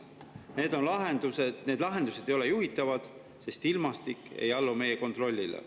Need ei ole juhitavad, sest ilmastik ei allu meie kontrollile.